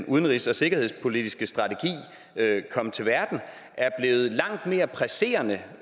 udenrigs og sikkerhedspolitiske strategi kom til verden er blevet langt mere presserende